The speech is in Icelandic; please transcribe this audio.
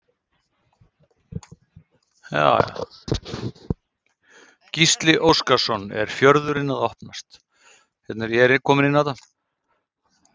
Gísli Óskarsson: Er fjörðurinn að opnast?